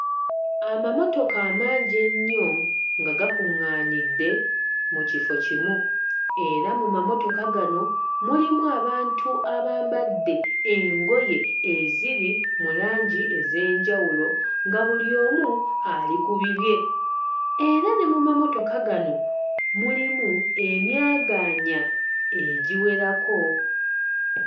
Amamotoka amangi ennyo nga gakuŋŋaanidde mu kifo kimu era mu mamotoka gano mulimu abantu abambadde engoye eziri mu langi ez'enjawulo nga buli omu ali ku bibye. Era ne mu mamotoka gano mulimu emyagaanya egiwerako.